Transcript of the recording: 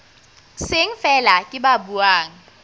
seng feela ke ba buang